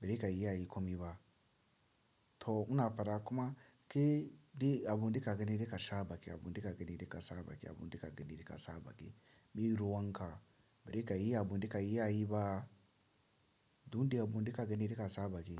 Bari ka iya yi komai ba. To ina fada kuma kai dai abun da ka gani da ka saba ki abun da ka gani da ka saba ki abun da ka gani da ka saba ki meye ruwanka. Baza ka yi abun da ka iya yi ba. Duk abun da ka gani da ka saba ki.